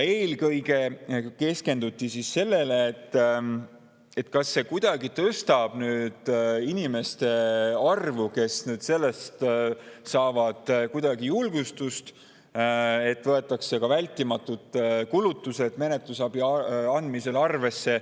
Eelkõige keskenduti sellele, kas see tõstab inimeste arvu, kes saavad kuidagi julgustust sellest, et võetakse ka vältimatud kulutused menetlusabi andmisel arvesse.